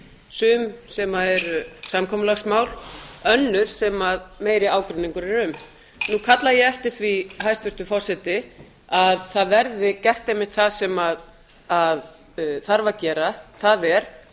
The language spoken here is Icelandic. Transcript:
sum sem eru samkomulagsmál önnur sem meiri ágreiningur er um nú kalla ég eftir því hæstvirtur forseti að það verði gert einmitt það sem þarf að gera það er að